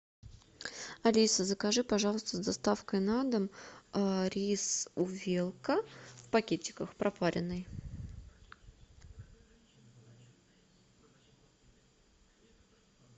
алиса закажи пожалуйста с доставкой на дом рис увелка в пакетиках пропаренный